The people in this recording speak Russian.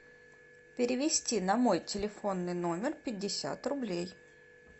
перевести на мой телефонный номер пятьдесят рублей